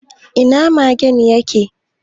Ina magen ya ke?